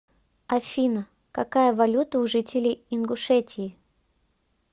афина какая валюта у жителей ингушетии